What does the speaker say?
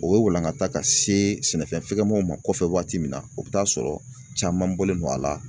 O ye walankata ka se sɛnɛfɛngɛmanw ma kɔfɛ waati min na o bɛ taa sɔrɔ caman bɔlen don a la.